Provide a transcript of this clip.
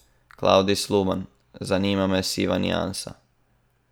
Klavdij Sluban: 'Zanima me siva niansa.